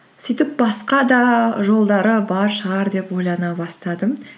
сөйтіп басқа да жолдары бар шығар деп ойлана бастадым